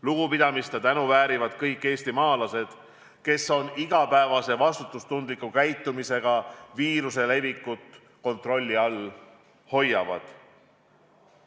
Lugupidamist ja tänu väärivad kõik eestimaalased, kes oma igapäevase vastutustundliku käitumisega viiruse levikut kontrolli all hoiavad.